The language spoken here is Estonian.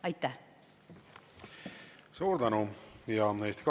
Aitäh!